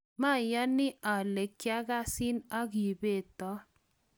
mayani ale kiakasin aki beto